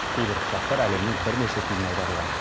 кейбір кітаптар әлемнің бірнеше тіліне аударылған